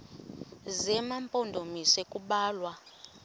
zema mpondomise kubalwa